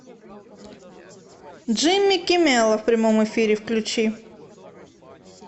джимми киммела в прямом эфире включи